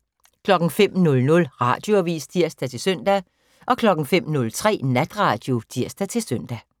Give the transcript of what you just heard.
05:00: Radioavis (tir-søn) 05:03: Natradio (tir-søn)